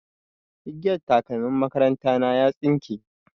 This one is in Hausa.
Igiyar takalmin makaranta na ya tsinke.